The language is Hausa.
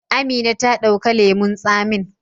Amina ta dauka lemun tsamin.